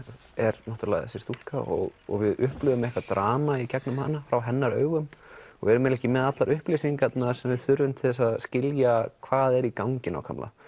er náttúrulega þessi stúlka og og við upplifum eitthvað drama í gegnum hana frá hennar augum og erum ekki með allar upplýsingar sem við þurfum til þess að skilja hvað er í gangi nákvæmlega